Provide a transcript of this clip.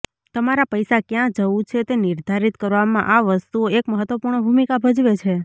તમારા પૈસા ક્યાં જવું છે તે નિર્ધારિત કરવામાં આ વસ્તુઓ એક મહત્વપૂર્ણ ભૂમિકા ભજવે છે